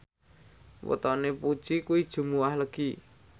wetone Puji kuwi Jumuwah Legi